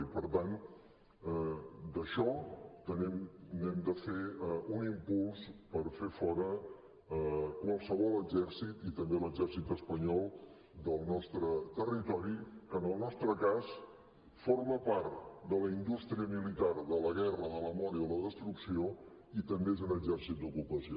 i per tant d’això també n’hem de fer un impuls per fer fora qualsevol exèrcit i també l’exèrcit espanyol del nostre territori que en el nostre cas forma part de la indústria militar de la guerra de la mort i de la destrucció i també és un exèrcit d’ocupació